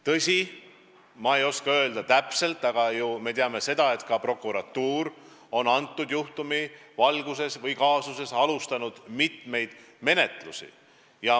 Tõsi, ma ei oska praegu midagi täpset öelda, aga on ju teada, et ka prokuratuur on selle juhtumi või kaasusega seoses alustanud mitut menetlust.